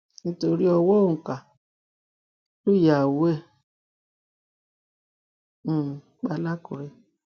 nítorí ọwọ òǹkà lùyàwó ẹ um pa làkúrẹ